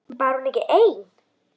Var hún ekki ein?